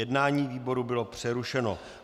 Jednání výboru bylo přerušeno.